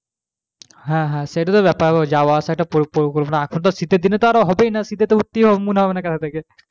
হ্যাঁ, হ্যাঁ, সেটাই তো ব্যাপার ও যাওয়া আসা একটা এখন তো শীতের দিনে তো আরও হবেই না শীতে তো উঠতেই মনে হবে না কাঁথা থেকে